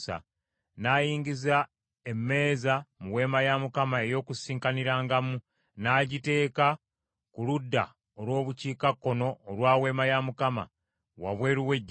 N’ayingiza emmeeza mu Weema ey’Okukuŋŋaanirangamu, n’agiteeka ku ludda olw’Obukiikakkono olwa Weema ya Mukama , wabweru w’eggigi,